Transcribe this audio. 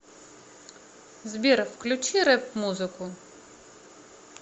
сбер включи рэп музыку